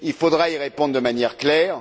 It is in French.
Il faudra y répondre de manière claire.